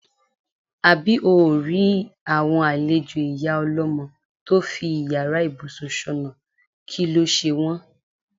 Àbí óò rí àwo̩n àlejò ìyá o̩ló̩mo̩ tó fi yàrá ìbùsùn s̩ò̩nà, kí ló s̩e wó̩n.